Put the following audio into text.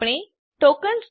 આપણને ટોકન્સ